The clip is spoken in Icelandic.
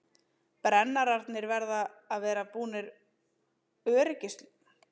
Brennararnir verða að vera búnir öryggisloka sem lokar fyrir gasið ef loginn deyr.